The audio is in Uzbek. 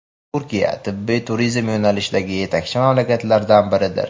Turkiya – tibbiy turizm yo‘nalishidagi yetakchi mamlakatlardan biridir.